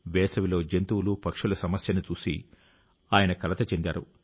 వేసవిలో జంతువులు పక్షుల సమస్యను చూసి ఆయన కలత చెందారు